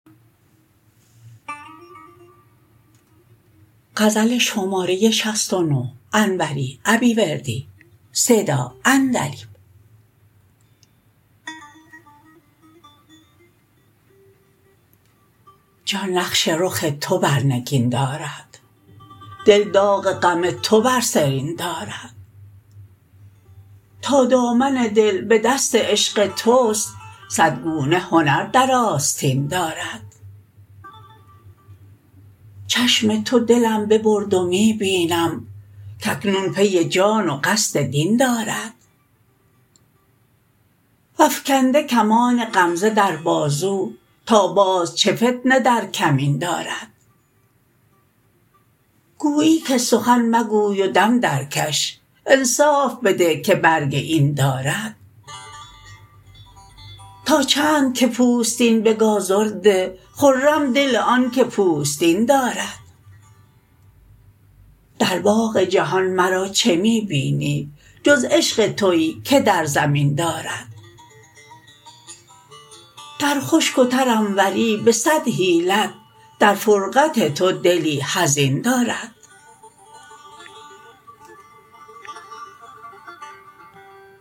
جان نقش رخ تو بر نگین دارد دل داغ غم تو بر سرین دارد تا دامن دل به دست عشق تست صد گونه هنر در آستین دارد چشم تو دلم ببرد و می بینم کاکنون پی جان و قصد دین دارد وافکنده کمان غمزه در بازو تا باز چه فتنه در کمین دارد گویی که سخن مگوی و دم درکش انصاف بده که برگ این دارد تا چند که پوستین به گازر ده خرم دل آنکه پوستین دارد در باغ جهان مرا چه می بینی جز عشق تویی که در زمین دارد در خشک و تر انوری به صد حیلت در فرقت تو دلی حزین دارد